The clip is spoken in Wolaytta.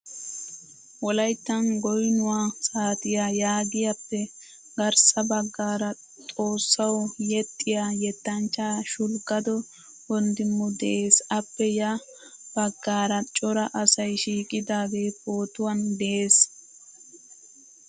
Wolayttan goynuwaa saatiyaa yaagiyappe garssa baggaara xoossaawu yexiya yettanchcha shulgado wondimu de'ees. Appe ya baggara cora asay shiiqidage pootuwan de'ees.